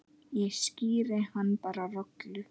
Ég skíri hann bara Rolu.